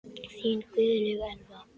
Þín Guðlaug Elfa.